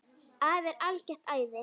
Afi er algert æði.